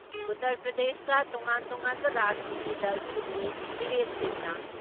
ꯎꯇꯔ ꯄ꯭ꯔꯗꯦꯁꯇ ꯇꯣꯉꯥꯟ ꯇꯣꯉꯥꯟꯕ ꯔꯥꯖꯅꯤꯇꯤ ꯗꯜꯁꯤꯡꯒꯤ ꯃꯤꯔꯦꯞꯁꯤꯡꯅ